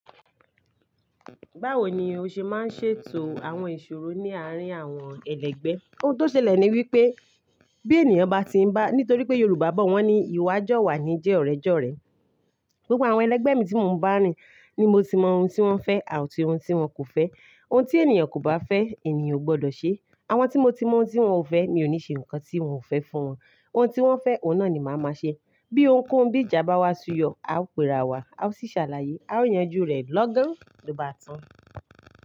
Báwo ni o ṣe máa ń ṣètò àwọn ìṣòro ní àárín àwọn ẹlẹgbẹ́? Ohun tó ṣẹlẹ̀ ni wípé bí ènìyàn bá ti ń bá-- nítorí pé Yorùbá bọ̀ wọ́n ní ìwà jọ̀wà ni jẹ́ ọ̀rẹ́ jọ̀rẹ́. Gbogbo àwọn ẹlẹgbẹ́ mi tí mo ń bá rìn ni mo ti mọ ohun tí wọ́n fẹ́ àti ohun tí wọn kò fẹ́. Ohun tí ènìyàn kò bá fẹ́, ènìyàn ò gbọ́dọ̀ ṣe. Àwọn tí mo ti mọ ohun tí wọ́n ò fẹ́, mi ò ní ṣe nǹkan tí wọ́n ò fẹ́ fún wọn. Ohun tí wọ́n fẹ́, òun náà ni màá máa ṣe. Bí òun kú, bí ìjà bá wá suyọ, a ó pera wa, a ó sì ṣàlàyé. A ó yanjú rẹ̀ lọ́gán, ló bá tàn.